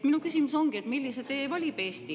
Minu küsimus on: millise tee valib Eesti?